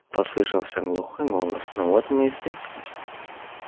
послышался глухой голос ну вот мы и встретились